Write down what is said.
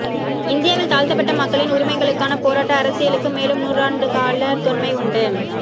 இந்தியாவில் தாழ்த்தப்பட்ட மக்களின் உரிமைகளுக்கான போராட்ட அரசியலுக்கு மேலும் நூறாண்டுக்கால தொன்மை உண்டு